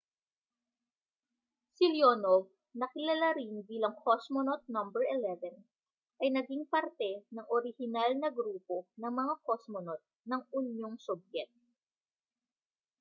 si leonov na kilala rin bilang cosmonaut no 11 ay naging parte ng orihinal na grupo ng mga kosmonot ng unyong sobyet